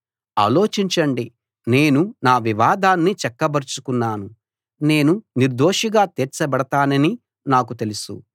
ఆలోచించండి నేను నా వివాదాన్ని చక్కబరచుకున్నాను నేను నిర్దోషిగా తీర్చబడతానని నాకు తెలుసు